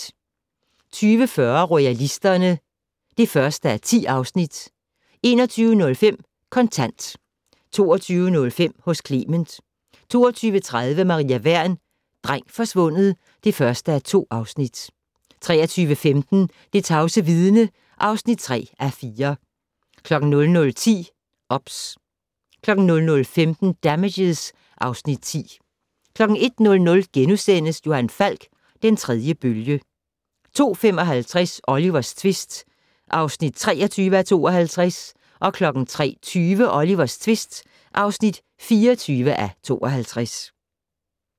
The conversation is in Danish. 20:40: Royalisterne (1:10) 21:05: Kontant 22:05: Hos Clement 22:30: Maria Wern: Dreng forsvundet (1:2) 23:15: Det tavse vidne (3:4) 00:10: OBS 00:15: Damages (Afs. 10) 01:00: Johan Falk: Den tredje bølge * 02:55: Olivers tvist (23:52) 03:20: Olivers tvist (24:52)